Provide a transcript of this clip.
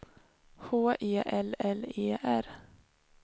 H E L L E R